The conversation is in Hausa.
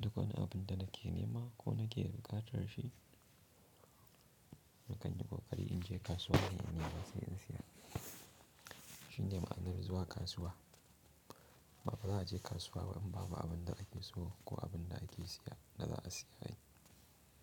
Duk wani abun da nake nema ko nake da buƙatar shi, na kan yi ƙoƙari in je kasuwa inne nema sai in siya. Shi ne ma'anar zuwa kasuwa. Bafa za'a je kasuwa in babu abun da ake so ko abun da ake siya da za a siya.